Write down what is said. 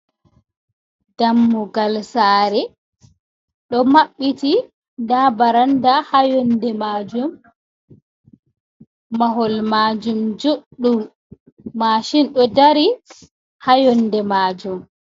Dammugal saare ɗo maɓɓiti ndaa barannda haa yonde maajum ,mahol maajum juuɗɗum mashin ɗo dari ,haa yonde maajum.